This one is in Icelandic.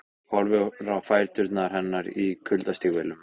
Horfir á fætur hennar í kuldastígvélum.